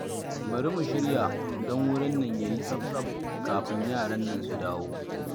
Bari mu shirya don wurin nan ya yi tsaf-tsaf kafin yaran nan su dawo.